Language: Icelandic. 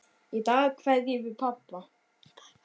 Í dag kveðjum við pabba.